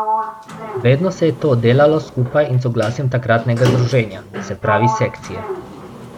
Vedno se je to delalo skupaj in soglasjem takratnega Združenja, se pravi Sekcije.